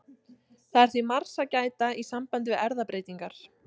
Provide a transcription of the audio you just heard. Það er því margs að gæta í sambandi við erfðabreytingar.